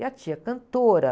E a tia? Cantora.